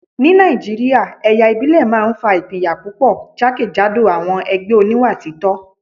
Ní Nàìjíríà, ẹ̀yà ìbílẹ̀ máa ń fa ìpínyà púpọ̀ jákèjádò àwọn ẹgbẹ́ oníwà títọ́